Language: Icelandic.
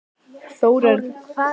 Þórörn, hvaða leikir eru í kvöld?